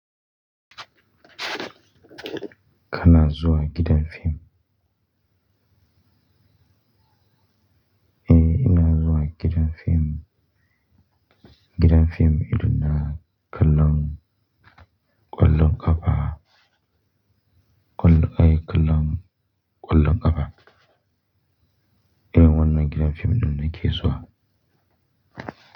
Ka na zuwa gidan fim? Eh, ina zuwa gidan fim. Gidan fim irin na, kallon, ƙwallon kafa, Kullum, eh, kallon, ƙwallon ƙafa. Irin wannan gidan fim ɗin na ke zuwa.